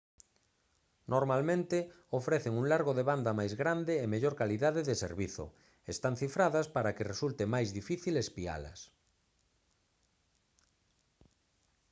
normalmente ofrecen un largo de banda máis grande e mellor calidade de servizo están cifradas para que resulte máis difícil espialas